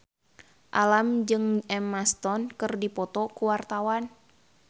Alam jeung Emma Stone keur dipoto ku wartawan